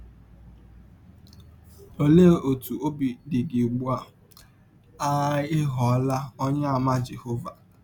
Ọlee ọtụ ọbi dị gị ụgbụ a ị a ị ghọrọla Ọnyeàmà Jehọva?